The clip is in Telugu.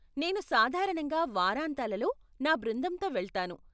నేను సాధారణంగా వారాంతాలలో నా బృందంతో వెళ్తాను.